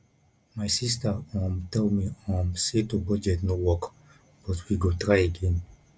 my sister um tell me um say to budget no work but we go try again